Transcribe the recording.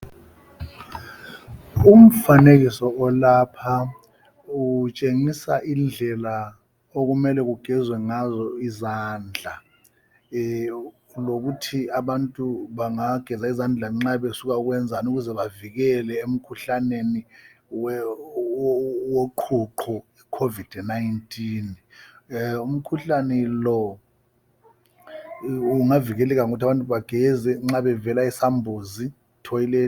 Umfanekiso olapha utshengisa indlela okumele kugezwe ngazo izandla, lokuthi abantu bengageza izandla nxa besuka ukwenzani ukuze bavikele emkhuhlaneni woqhuqho (ikhovidi nayintini). Umkhuhlane lo ungavikeleka ngokuthi abantu bageze nxa bevela esambuzini.